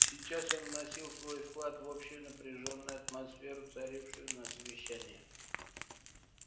сейчас он вносил свой вклад в общую напряжённую атмосферу царившую на совещании